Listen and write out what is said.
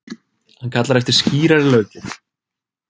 Hann kallar eftir skýrari löggjöf.